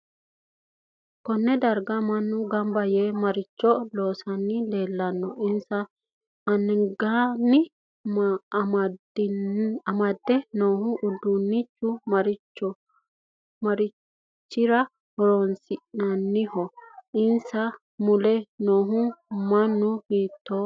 Konne darga mannu ganba yee maricho loosani leelanno insa angasanni amdde noo uduunichi marichi horo aanoho insa mule noo muni hiitooho